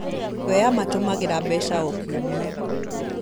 We amatũmagĩra mbeca o kiumia